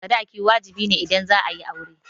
Sadaki wajibi ne idan za'a yi aure.